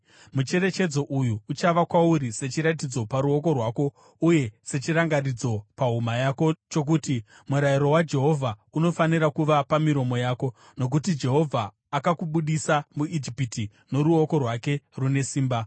Mucherechedzo uyu uchava kwauri sechiratidzo paruoko rwako uye sechirangaridzo pahuma yako chokuti murayiro waJehovha unofanira kuva pamiromo yako. Nokuti Jehovha akakubudisa muIjipiti noruoko rwake rune simba.